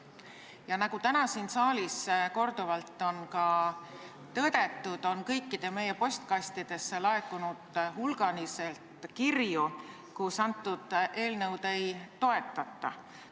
Ja nagu täna siin saalis korduvalt on ka tõdetud, on meie kõikide postkastidesse laekunud hulgaliselt kirju, milles seda eelnõu ei toetata.